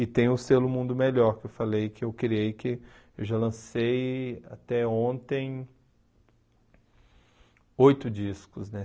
E tem o selo Mundo Melhor, que eu falei que eu criei, que eu já lancei até ontem oito discos, né?